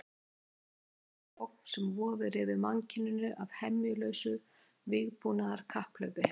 Enn er ótalin sú ógn sem vofir yfir mannkyninu af hemjulausu vígbúnaðarkapphlaupi.